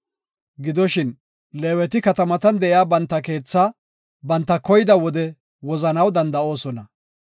Gidoshin, Leeweti katamatan de7iya banta keethaa banta koyida wode wozanaw danda7oosona.